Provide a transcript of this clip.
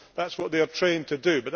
that is what they are trained to do.